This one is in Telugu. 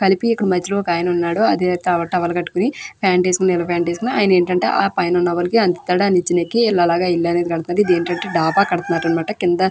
కలిపి ఇక్కడ మధ్యలో ఒక అయన ఉన్నాడు. అదే తావు టవల్ కట్టుకుని ప్యాంటు వేసుకుని నీలం ప్యాంటు { వేసుకుని అయన ఏంటి అంటే ఆ పైనా ఉన్న వాళ్లకి అందిస్తారు. ఆ నీచన ఎక్కి అలాగా ఆ ఇల్లు అనేది కడతారు. ఇది ఏంటి అంటే డబ్బా కడుతున్నారు అన్నమాట. కింద --}